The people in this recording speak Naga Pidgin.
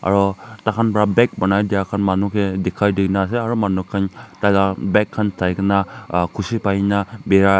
ro takhan pa beg banai dyrkhan manu kae dikhai dikae na ase aro manu khan tai la bag khan sai kae na khushi pai na birai ase.